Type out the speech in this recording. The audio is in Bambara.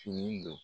Fini don